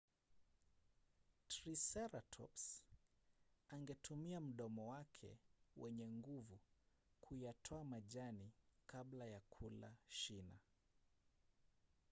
triseratops angeutumia mdomo wake wenye nguvu kuyatoa majani kabla ya kula shina